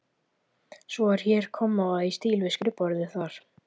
Svo er hér kommóða í stíl við skrifborðið þar.